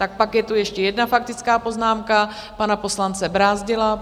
Tak pak je tu ještě jedna faktická poznámka pana poslance Brázdila.